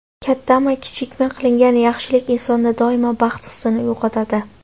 Kattami, kichikmi, qilingan yaxshilik insonda doimo baxt hissini uyg‘otadi.